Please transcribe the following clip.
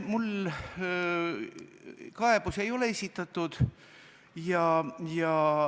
Mulle ei ole kaebusi esitatud.